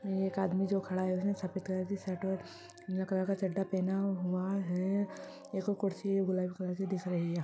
में एक आदमी जो खड़ा है उसने सफ़ेद कलर की शर्ट नीला कलर का चड्ढा पहना हुआ है एक वो कुर्सी है गुलाबी कलर की दिख रही है।